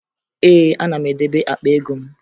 Ee, ana m edebe akpa ego m